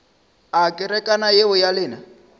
a kerekana yeo ya lena